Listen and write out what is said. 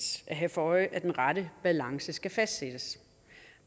at have for øje at den rette balance skal fastsættes